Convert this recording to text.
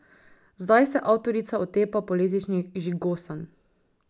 Zdaj se avtorica otepa političnih žigosanj.